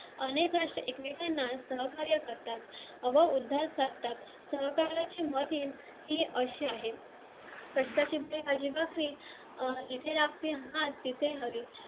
अनेक अशा एकमेकांना सहकार्य करतात ही अशी आहे